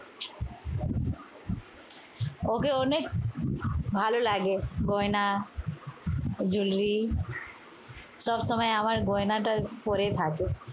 ওকে অনেক ভালো লাগে। গয়না jewelry সবসময় আমার গয়নাটা পরে থাকে।